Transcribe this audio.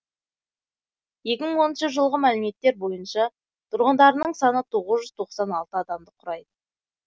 екі мың оныншы жылғы мәліметтер бойынша тұрғындарының саны тоғыз жүз тоқсан алты адамды құрайды